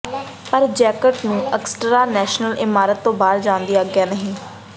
ਪਰ ਜੈਕਟ ਨੂੰ Augusta National ਇਮਾਰਤ ਤੋਂ ਬਾਹਰ ਜਾਣ ਦੀ ਆਗਿਆ ਨਹੀਂ ਹੈ